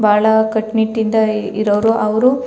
ಬಹಳ ಕಟ್ಟ್ ನಿಟ್ಟ್ ಇದ್ದಯ್ ಇರೋವ್ರು ಅವ್ರು --